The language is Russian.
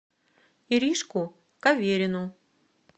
иришку каверину